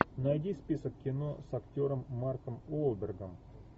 найди список кино с актером марком уолбергом